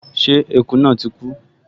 Ṣé eku náà ti kú?